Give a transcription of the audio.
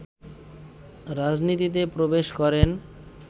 রাজনীতিতে প্রবেশ করেন